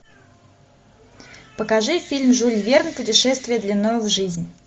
покажи фильм жюль верн путешествие длиною в жизнь